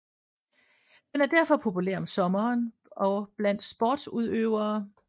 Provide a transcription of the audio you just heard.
Den er derfor populær om sommeren og blandt sporsudøvere